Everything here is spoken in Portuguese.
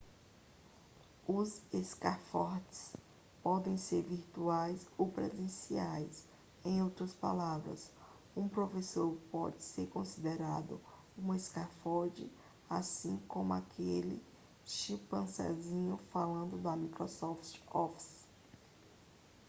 os scaffolds podem ser virtuais ou presenciais em outras palavras um professor pode ser considerado um scaffold assim como aquele clipezinho falante do microsoft office